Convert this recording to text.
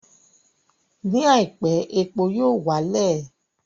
Ní àìpé, epo yóò wá lẹ̀